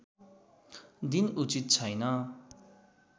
दिन उचित छैन